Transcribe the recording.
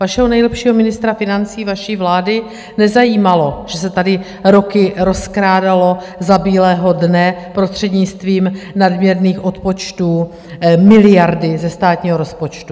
Vašeho nejlepšího ministra financí vaší vlády nezajímalo, že se tady roky rozkrádaly za bílého dne prostřednictvím nadměrných odpočtů miliardy ze státního rozpočtu.